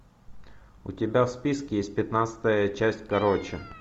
у тебя в списке есть пятнадцатая часть короче